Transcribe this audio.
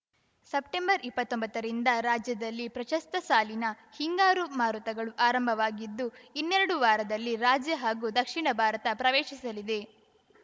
ಸೆಪ್ಟೆಂಬರ್ಇಪ್ಪತ್ತೊಂಬತ್ತರಿಂದ ರಾಜ್ಯದಲ್ಲಿ ಪ್ರಸಕ್ತ ಸಾಲಿನ ಹಿಂಗಾರು ಮಾರುತಗಳು ಆರಂಭವಾಗಿದ್ದು ಇನ್ನೆರಡು ವಾರದಲ್ಲಿ ರಾಜ್ಯ ಹಾಗೂ ದಕ್ಷಿಣ ಭಾರತ ಪ್ರವೇಶಿಸಲಿವೆ